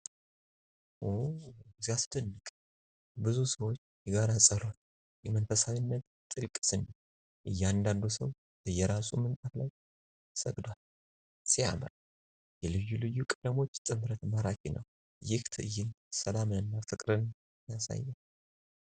ው ሲያስደንቅ! የብዙ ሰዎች የጋራ ጸሎት! የመንፈሳዊነት ጥልቅ ስሜት! እያንዳንዱ ሰው በየራሱ ምንጣፍ ላይ ሰግዷል። ሲያምር! የልዩ ልዩ ቀለሞች ጥምረት ማራኪ ነው። ይህ ትዕይንት ሰላምንና ፍቅርን ያሳያል።